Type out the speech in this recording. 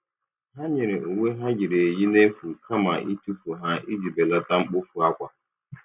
Ha nyere uwe ha yiri eyi n'efu kama itufu ha iji belata mkpofu akwa.